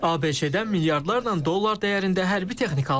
ABŞ-dən milyardlarla dollar dəyərində hərbi texnika alınacaq.